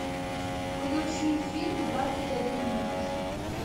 включи фильм двадцать один мост